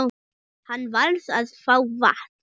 Hann varð að fá vatn.